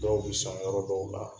Dɔw bɛ san yɔrɔ dɔw la